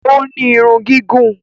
O ní Irun gígùn